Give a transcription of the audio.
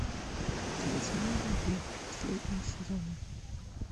талисман любви последний сезон